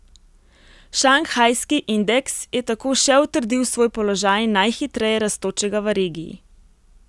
Šanghajski indeks je tako še utrdil svoj položaj najhitreje rastočega v regiji.